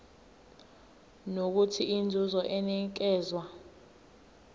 nokuthola inzuzo enikezwa